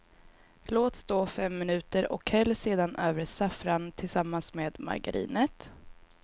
Låt stå fem minuter och häll sedan över saffran tillsammans med margarinet.